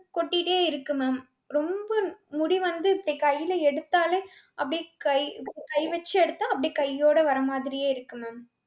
கொட்டிட்டே இருக்கு ma'am. ரொம்ப முடி வந்து இப்டி கைல எடுத்தாலே அப்டியே கை கை வெச்சு எடுத்தா அப்டியே கையோட வரமாதிரியே இருக்கு ma'am.